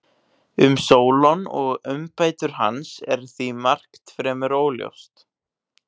Um Sólon og umbætur hans er því margt fremur óljóst.